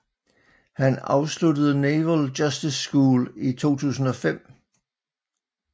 Han afsluttede Naval Justice School i 2005